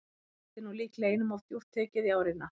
Þetta er nú líklega einum of djúpt tekið í árina.